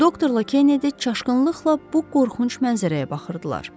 Doktorla Kennedi çaşqınlıqla bu qorxunc mənzərəyə baxırdılar.